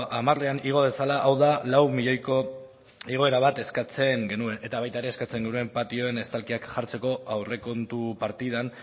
hamarean igo dezala hau da lau milioiko igoera bat eskatzen genuen eta baita ere eskatzen genuen patioan estalkiak jartzeko aurrekontu partidan